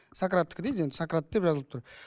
сократтікі дейді енді сократ деп жазылып тұр